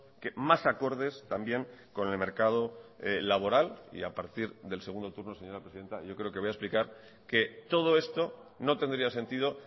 que más acordes también con el mercado laboral y a partir del segundo turno señora presidenta yo creo que voy a explicar que todo esto no tendría sentido